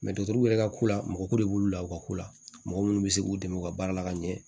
dɔkitɛriw yɛrɛ ka ko la mɔgɔ ko de b'olu la u ka ko la mɔgɔ munnu be se k'u dɛmɛ u ka baara la ka ɲɛ